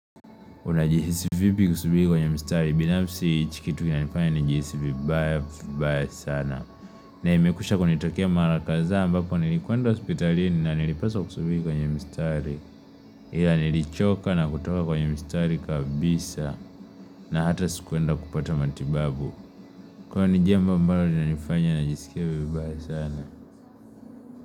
Unajihisi vipi kusubiri kwenye mstari binafsi hichi kitu kinanifanya ni jihisi vibaya baya sana na imekusha kunitakea mara kadha ambako nilikuenda hospitalini na nilipaswa kusubiri kwenye mstari ila nilichoka na kutoka kwenye mstari kabisa na hata sikuenda kupata matibabu kwa nijia mbalo ninanifanya na jisikia baya sana.